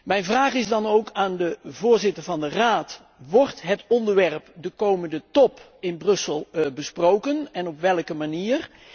Mijn vraag is dan ook aan de voorzitter van de Raad wordt het onderwerp op de komende top in Brussel besproken en op welke manier?